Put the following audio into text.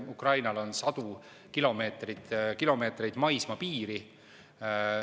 Ukrainal on sadu kilomeetreid maismaapiiri.